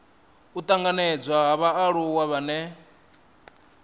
u tanganedzwa ha vhaaluwa vhane